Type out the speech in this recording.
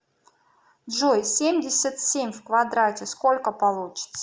джой семьдесят семь в квадрате сколько получится